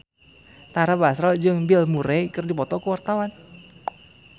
Tara Basro jeung Bill Murray keur dipoto ku wartawan